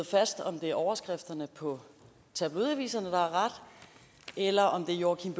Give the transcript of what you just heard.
fast om det er overskrifterne på tabloidaviserne der har ret eller om det er joachim